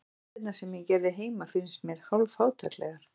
Jafnvel myndirnar sem ég gerði heima finnst mér hálf-fátæklegar.